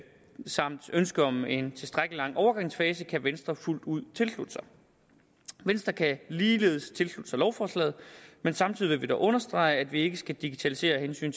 samt ønsket om en tilstrækkelig lang overgangsfase kan venstre fuldt ud tilslutte sig venstre kan ligeledes tilslutte sig lovforslaget men samtidig vil vi dog understrege at vi ikke skal digitalisere af hensyn